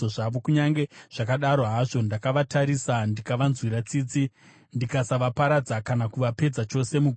Kunyange zvakadaro hazvo, ndakavatarisa ndikavanzwira tsitsi ndikasavaparadza kana kuvapedza chose mugwenga.